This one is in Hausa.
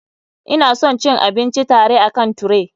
Ina son cin abinci tare akan tray.